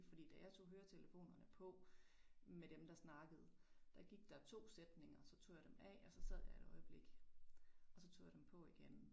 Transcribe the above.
Fordi da jeg tog høretelefonerne på med dem der snakkede der gik der to sætninger så tog jeg dem af og så sad jeg et øjeblik og så tog jeg dem på igen